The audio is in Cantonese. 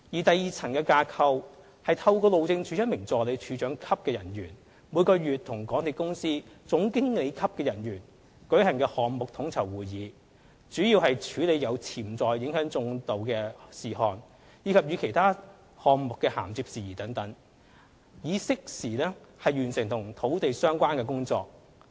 第二層架構是透過路政署一名助理署長級人員，每月與港鐵公司總經理級人員舉行項目統籌會議，主要處理對進度有潛在影響的事項，以及與其他項目的銜接事宜等，以適時完成與土地相關的工作。